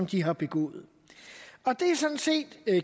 de har begået det er sådan set